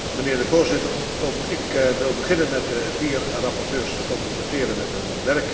Voorzitter, ook ik wil beginnen met de vier rapporteurs te complimenteren met hun werk.